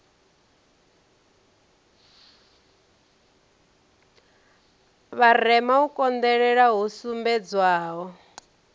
vharema u konḓelela hu sumbedzwaho